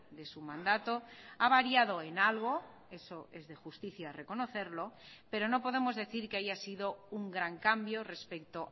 de su mandato ha variado en algo eso es de justicia reconocerlo pero no podemos decir que haya sido un gran cambio respecto